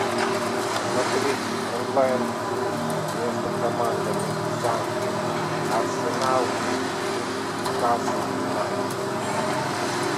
смотреть онлайн игру между командами из англии арсенал и ньюкасл юнайтед